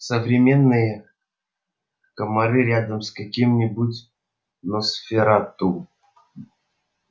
современные комары рядом с каким-нибудь носферату